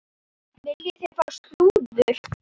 Viljið þið fá slúður?